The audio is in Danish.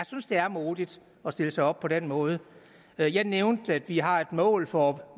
synes det er modigt at stille sig op på den måde jeg jeg nævnte at vi har et mål for